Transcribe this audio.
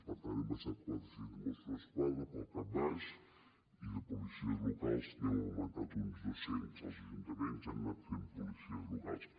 per tant hem baixat quatre cents mossos d’esquadra pel cap baix i de policies locals n’hem augmentat uns dos cents els ajuntaments han anat fent policies locals